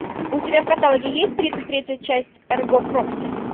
у тебя в каталоге есть тридцать третья часть эрго прокси